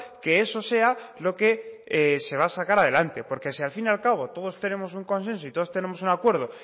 que eso sea lo que se va a sacar adelante porque si al fin y al cabo todos tenemos un consenso y todos tenemos un acuerdo